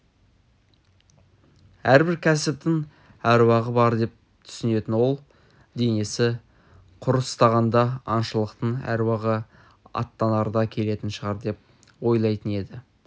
әрбір кәсіптің әруағы бар деп түсінетін ол денесі құрыстағанда аңшылықтың әруағы аттанарда келетін шығар деп ойлайтын еді